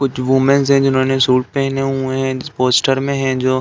कुछ विमेंस है। जिन्होंने शूट पहने हुए हैं। पोस्टर में हैं जो --